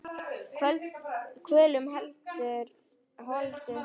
Kvölum veldur holdið lest.